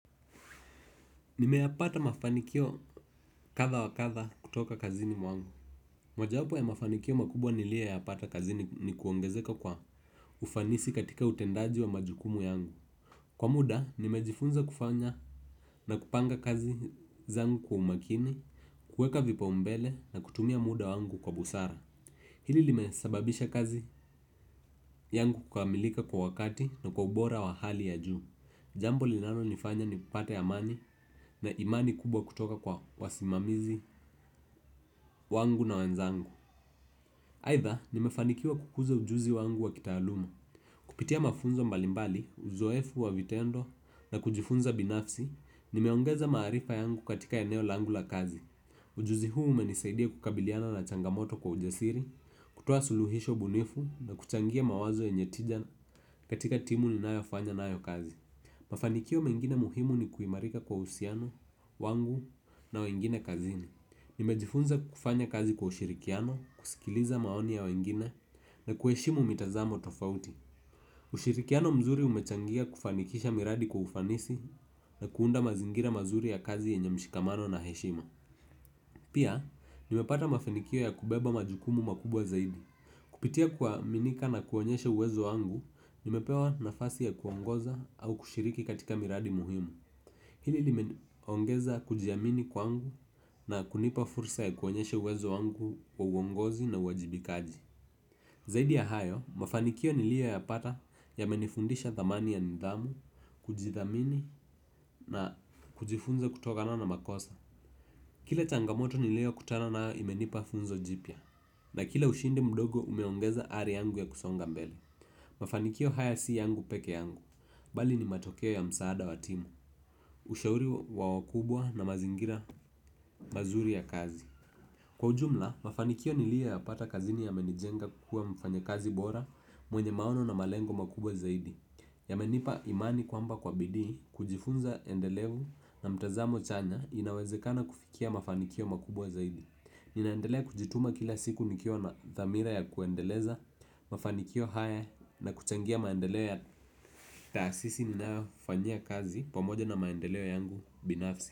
Nimeyapata mafanikio kadha wa kadha kutoka kazini mwangu. Moja wapoo ya mafanikio makubwa nilioyapata kazini ni kuongezeka kwa ufanisi katika utendaji wa majukumu yangu. Kwa muda, nimejifunza kufanya na kupanga kazi zangu kwa umakini, kueka vipa umbele na kutumia muda wangu kwa busara. Hili limesababisha kazi yangu kukamilika kwa wakati na kwa ubora wa hali ya juu. Jambo linano nifanya ni kupata amani na imani kubwa kutoka kwa wasimamizi wangu na wanzangu. Aidha nimefanikiwa kukuza ujuzi wangu wa kitaaluma kupitia mafunzo mbalimbali, uzoefu wa vitendo na kujifunza binafsi. Nimeongeza maarifa yangu katika eneo langu la kazi. Ujuzi huu umenisaidia kukabiliana na changamoto kwa ujasiri. Kutoa suluhisho bunifu na kuchangia mawazo yenye tija katika timu ninaifanya nayo kazi. Mafanikio mengine muhimu ni kuimarika kwa uhsiano, wangu na wengine kazini. Nimejifunza kufanya kazi kwa ushirikiano, kusikiliza maoni ya wengine na kueshimu mitazamo tofauti. Ushirikiano mzuri umechangia kufanikisha miradi kwa ufanisi na kuunda mazingira mazuri ya kazi yenye mshikamano na heshima. Pia, nimepata mafanikio ya kubeba majukumu makubwa zaidi. Kupitia kwa minika na kuonyeshe uwezo angu, nimepewa nafasi ya kuongoza au kushiriki katika miradi muhimu. Hili limeongeza kujiamini kwangu na kunipa fursa ya kuonyesha uwezo wangu wa uongozi na wajibikaji. Zaidi ya hayo, mafanikio nilio ya pata ya yamenifundisha dhamani ya nidhamu, kujithamini na kujifunza kutokana na makosa. Kile changamoto nilio kutana na imenipa funzo jipia na kila ushindi mdogo umeongeza ari yangu ya kusonga mbele. Mafanikio haya si yangu peke yangu, bali ni matokeo ya msaada wa timu, ushauri wa wakubwa na mazingira mazuri ya kazi. Kwa ujumla, mafanikio nilio ya pata kazini ya menijenga kukuwa mfanya kazi bora mwenye maono na malengo makubwa zaidi. Ya menipa imani kwamba kwa bidii, kujifunza endelevu na mtazamo chanya, inawezekana kufikia mafanikio makubwa zaidi. Ninaendelea kujituma kila siku nikio na thamira ya kuendeleza, mafanikio haya, na kuchangia maendeleo taasisi ninayofanyia kazi pamoja na maendeleo yangu binafsi.